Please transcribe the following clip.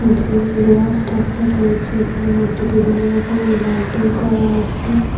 যে লোহার স্ট্রাকচার রয়েছে এগুলোর মধ্যে বিভিন্নরকমের লাইটিং করা আছে।